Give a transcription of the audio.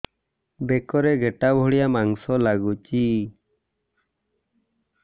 ବେକରେ ଗେଟା ଭଳିଆ ମାଂସ ଲାଗୁଚି